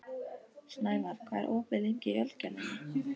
Snævarr, hvað er opið lengi í Ölgerðinni?